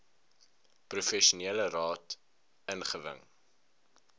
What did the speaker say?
professionele raad ingewin